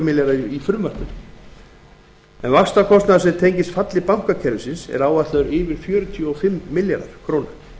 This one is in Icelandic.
króna í frumvarpi til fjárlaga tvö þúsund og níu vaxtakostnaður sem tengist falli bankakerfisins er áætlaður yfir fjörutíu og fimm milljarðar króna